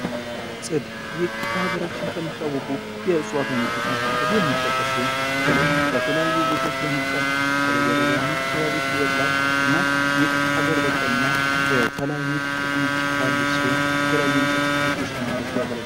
ጽድ ይህ በሀገራችን ከሚታወቁ የዕዋት አይነቶች መካከል የሚጠቀስ ሲሆን በተለይ በተለያዩ ቦታዎች በመብቃል በተለይ በደጋማ አካባቢ አካባቢዎች ይበቅላል እና ይህ ሀገር በቀል እና የተለያዩ ጥቅሞች ያሉት ሲሆን የተለያዩ የእንጨት ምርቶች ለማምረት ያገልግላል።